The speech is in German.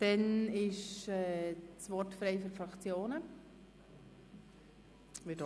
Dann ist das Wort für die Fraktionen frei.